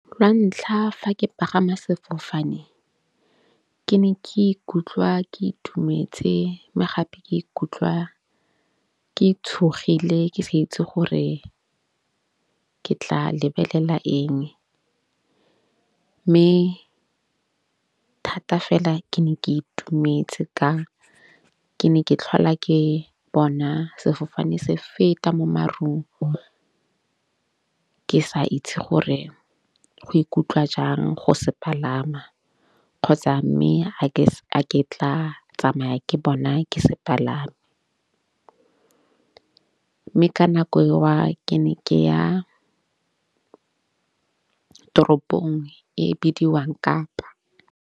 Lantlha fa ke pagama sefofane ke ne ke ikutlwa ke itumetse. Mme gape ke ikutlwa ke tshogile ke sa itse gore ke tla lebelela eng. Mme thata fela ke ne ke itumetse ka ke ne ke tlhola ke bona sefofane se feta mo marung, ke sa itse gore go ikutlwa jang go se palama kgotsa mme ga ke tla tsamaya ke bona ke se palama. Mme ka nako eo ke ne ke ya toropong e bidiwang Kapa.